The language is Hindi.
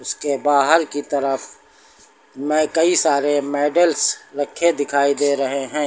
उसके बाहर की तरफ मे कई सारे मेडल्स रखे दिखाई दे रहे हैं।